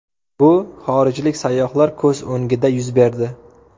Bu xorijlik sayyohlar ko‘z o‘ngida yuz berdi.